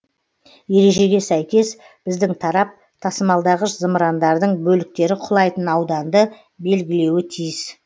ережеге сәйкес біздің тарап тасымалдағыш зымырандардың бөліктері құлайтын ауданды белгілеуі тиіс